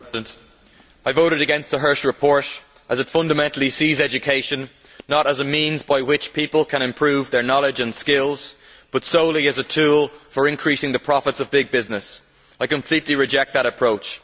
Mr President, I voted against the Hirsch report as it fundamentally sees education not as a means by which people can improve their knowledge and skills, but solely as a tool for increasing the profits of big business. I completely reject that approach.